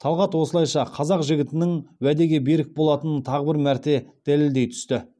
талғат осылайша қазақ жігітінің уәдеге берік болатынын тағы бір мәрте дәлелдей түсті